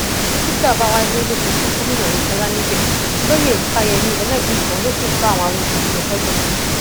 dókítà ọbawalé lọ sojú gómìnà oyetola níbẹ olóyè ifáyémí elébùíbọn sì kó àwọn awọ sódì lọ sódò